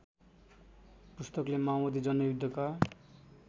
पुस्तकले माओबादी जनयुद्धका